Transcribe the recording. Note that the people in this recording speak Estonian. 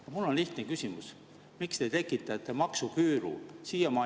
Aga mul on lihtne küsimus: miks te tekitate maksuküüru?